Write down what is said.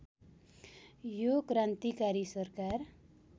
यो क्रान्तिकारी सरकार